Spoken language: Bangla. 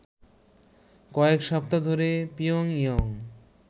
কয়েক সপ্তাহ ধরে পিয়ংইয়ং